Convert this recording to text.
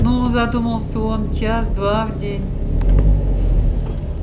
ну задумался он час-два в день